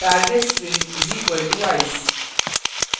target string = ice